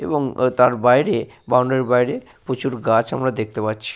এবং তার বাইরে বাউন্ডারি র বাইরে প্রচুর গাছ আমরা দেখতে পাচ্ছি।